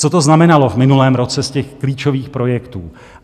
Co to znamenalo v minulém roce z těch klíčových projektů?